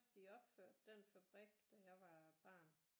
De opførte den fabrik da jeg var barn